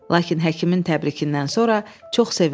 Lakin həkimin təbrikindən sonra çox sevindi.